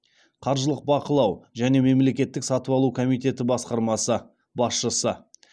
қаржылық бақылау және мемлекеттік сатып алу комитеті басқармасы басшысы